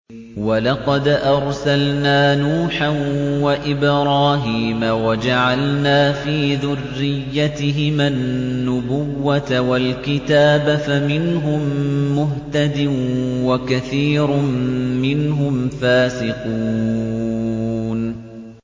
وَلَقَدْ أَرْسَلْنَا نُوحًا وَإِبْرَاهِيمَ وَجَعَلْنَا فِي ذُرِّيَّتِهِمَا النُّبُوَّةَ وَالْكِتَابَ ۖ فَمِنْهُم مُّهْتَدٍ ۖ وَكَثِيرٌ مِّنْهُمْ فَاسِقُونَ